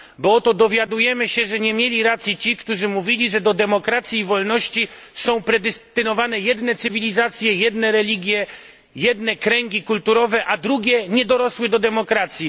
Bo oto dowiadujemy się, że nie mieli racji ci, którzy mówili, że do demokracji i wolności są predestynowane jedne cywilizacje, jedne religie, jedne kręgi kulturowe, zaś drugie nie dorosły do demokracji.